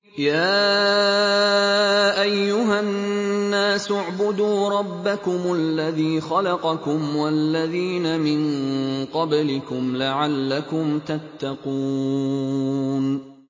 يَا أَيُّهَا النَّاسُ اعْبُدُوا رَبَّكُمُ الَّذِي خَلَقَكُمْ وَالَّذِينَ مِن قَبْلِكُمْ لَعَلَّكُمْ تَتَّقُونَ